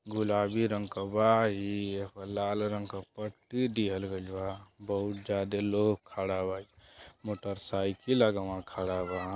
गुलाबी रंग क बा इ। एपर लाल रंग क पट्टी दिहल गईल बा। बहोत जादे लोग खड़ा बा। मोटरसाइकिल अगवां खड़ा बा।